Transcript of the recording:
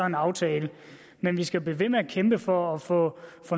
en aftale men vi skal blive ved med at kæmpe for at få